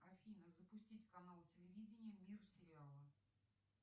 афина запустить канал телевидения мир сериалов